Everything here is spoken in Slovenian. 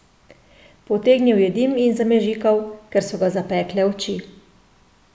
Potegnil je dim in zamežikal, ker so ga zapekle oči.